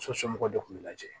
So somɔgɔw de kun bɛ lajɛ